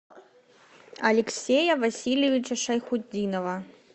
алексея васильевича шайхутдинова